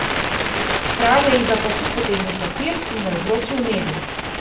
Kralj je izza pasu potegnil papir in ga izročil Nedu.